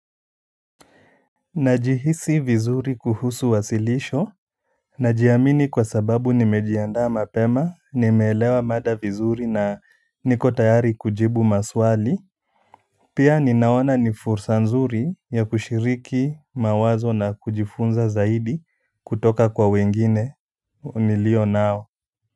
Najihisi vizuri kuhusu wasilisho. Najiamini kwa sababu nimejiandaa mapema nimeelewa mada vizuri na niko tayari kujibu maswali pia ninaona ni fursa nzuri ya kushiriki mawazo na kujifunza zaidi kutoka kwa wengine nilio nao.